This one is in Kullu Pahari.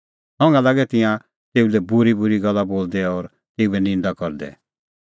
संघा लागै तिंयां तेऊ लै बूरीबूरी गल्ला बोलदै और तेऊए निंदा करदै